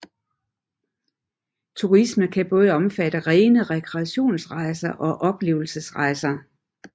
Turisme kan både omfatte rene rekreationsrejser og oplevelsesrejser